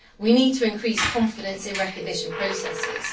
We need to increase confidence in recognition processes.